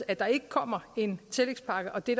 at der ikke kommer en tillægspakke og at det